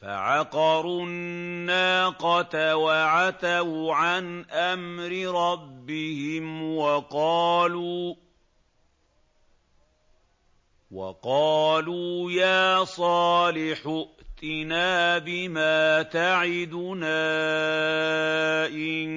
فَعَقَرُوا النَّاقَةَ وَعَتَوْا عَنْ أَمْرِ رَبِّهِمْ وَقَالُوا يَا صَالِحُ ائْتِنَا بِمَا تَعِدُنَا إِن